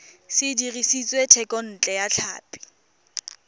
se dirisitswe thekontle ya tlhapi